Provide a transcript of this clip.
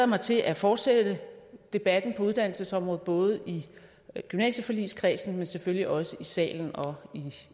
mig til at fortsætte debatten på uddannelsesområdet både i gymnasieforligskredsen men selvfølgelig også i salen og